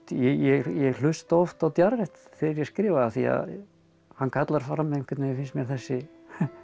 ég hlusta oft á Jarrett þegar ég skrifa af því að hann kallar fram einhvern veginn finnst mér þessi